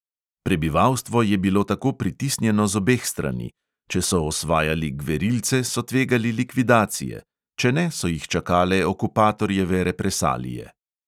Prebivalstvo je bilo tako pritisnjeno z obeh strani: če so osvajali gverilce, so tvegali likvidacije, če ne, so jih čakale okupatorjeve represalije.